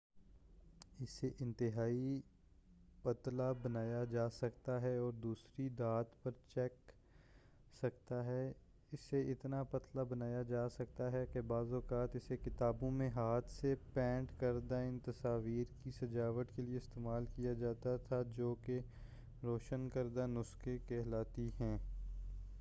اسے انتہائی پتلا بنایا جا سکتا ہے اور دوسری دھات پر چپک سکتا ہے اسے اتنا پتلا بنایا جا سکتا ہے کہ بعض اوقات اسے کتابوں میں ہاتھ سے پینٹ کردہ ان تصاویر کی سجاوٹ کے لیے استعمال کیا جاتا تھا جوکہ روشن کردہ نسخے کہلاتی ہیں